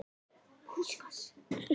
En ósköp tók hann þetta nærri sér.